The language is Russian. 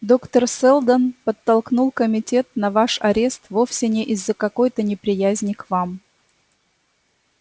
доктор сэлдон подтолкнул комитет на ваш арест вовсе не из-за какой-то неприязни к вам